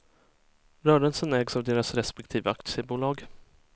Rörelsen ägs av deras respektive aktiebolag.